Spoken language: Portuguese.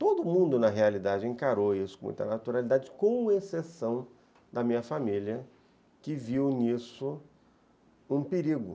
Todo mundo, na realidade, encarou isso com muita naturalidade, com exceção da minha família, que viu nisso um perigo.